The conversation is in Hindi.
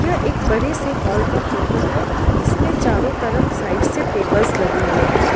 एक बड़े से हॉल का फोटो है जिसमें चारो तरफ साइड से टेबल्स लगे हुए हैं।